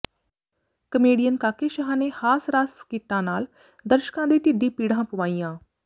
comedian Kake Shah ਨੇ ਹਾਸ ਰਾਸ ਸਕਿੱਟਾਂ ਨਾਲ ਦਰਸ਼ਕਾਂ ਦੇ ਢਿੱਡੀਂ ਪੀੜ੍ਹਾਂ ਪਵਾਈਆਂ